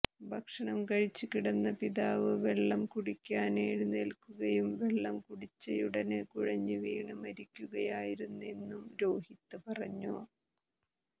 ഭക്ഷണം കഴിച്ച് കിടന്ന പിതാവ് വെള്ളം കുടിക്കാന് എഴുന്നേല്ക്കുകയും വെള്ളം കുടിച്ചയുടന് കുഴഞ്ഞുവീണ് മരിക്കുകയായിരുന്നെന്നും രോഹിത് പറഞ്ഞു